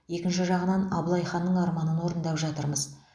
екінші жағынан абылай ханның арманын орындап жатырмыз